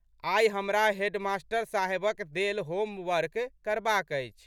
आइ हमरा हेडमास्टर साहेबक देल होमवर्क करबाक अछि।